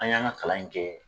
An y'an ka kalan in kɛ